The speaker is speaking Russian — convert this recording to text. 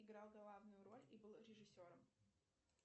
играл главную роль и был режиссером